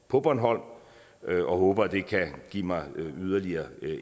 på bornholm og håber at det kan give mig yderligere